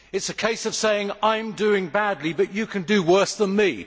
It is a case of saying I am doing badly but you can do worse than me